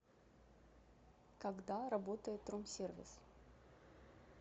когда работает тромсервис